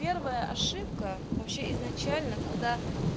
первая ошибка вообще изначально когда